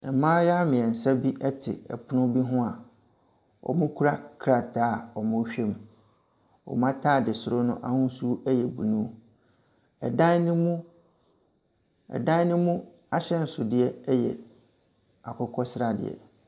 Mmaayea mmiensa bi ɛpono bi ho a, wɔkura krataa a wɔrewhɛ mu. Wɔn ataadesoro no ahosuo yɛ bunu. Ɛdan no mu ɛdan no mu ahyɛnsodeɛ yɛ akokɔsradeɛ.